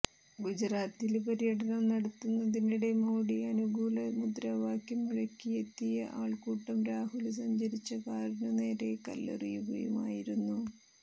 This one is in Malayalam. ഗുജറാത്തില് പര്യടനം നടത്തുന്നതിനിടെ മോഡി അനുകൂല മുദ്രാവാക്യം മുഴക്കിയെത്തിയ ആള്ക്കൂട്ടം രാഹുല് സഞ്ചരിച്ച കാറിനു നേരെ കല്ലെറിയുകയുമായിരുന്നു